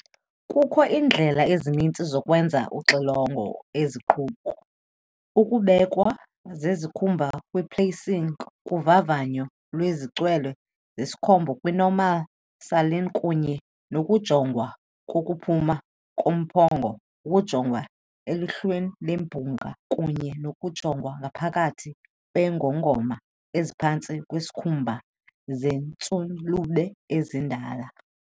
Kukho iindlela ezininzi zokwenza uxilongo eziquka- ukubekwa zesikhumba kwi-placing kovavanyo lwezicwili zesikhumba kwi- normal saline kunye nokujongwa kokuphuma kombungu, ukujongwa elihlweni lemibungu, kunye nokujongwa ngaphakathi kweengongoma eziphantsi kwesikhumba zeentshulube ezindala.